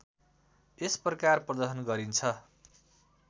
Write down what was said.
यस प्रकार प्रदर्शन गरिन्छ